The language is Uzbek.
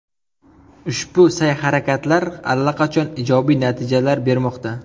Ushbu sa’y-harakatlar allaqachon ijobiy natijalar bermoqda.